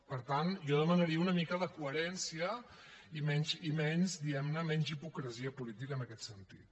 per tant jo demanaria una mica de coherència i menys diguem ne hipocresia política en aquest sentit